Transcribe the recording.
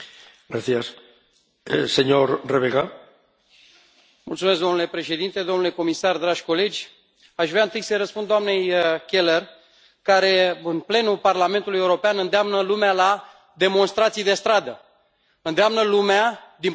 Domnule președinte, domnule comisar, dragi colegi, aș vrea întâi să îi răspund doamnei Keller, care, în plenul Parlamentului European, îndeamnă lumea la demonstrații de stradă, îndeamnă lumea din Parlamentul European să dărâme guverne care au fost alese democratic